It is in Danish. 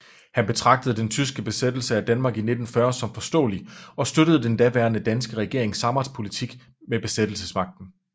Han betragtede den tyske besættelse af Danmark i 1940 som forståelig og støttede den daværende danske regerings samarbejdspolitik med besættelsesmagten